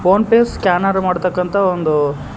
phone pay scanner ಮಾಡು ತಕ್ಕಂತ ಒಂದು--